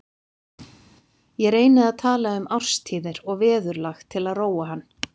Ég reyni að tala um árstíðir og veðurlag til að róa hann.